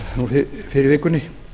fyrr í vikunni